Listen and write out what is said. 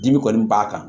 Dimi kɔni b'a kan